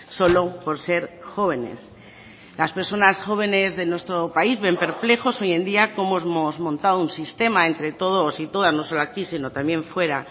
solo por ser jóvenes las personas jóvenes de nuestro país ven perplejos hoy en día cómo hemos montado un sistema entre todos y todas no solo aquí sino también fuera